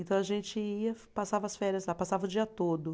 Então a gente ia, passava as férias lá, passava o dia todo.